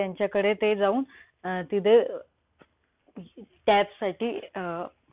ग्रामपंचायत त्यांच्याकडे ते जाऊन अं तिथे tap साठी अं